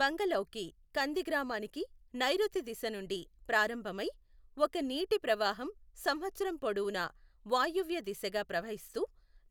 బంగలౌకి కంది గ్రామానికి నైరుతి దిశ నుండి ప్రారంభం అయ్, ఒక నీటి ప్రవాహం సంవత్సరం పొడవునా వాయువ్య దిశగా ప్రవహిస్తూ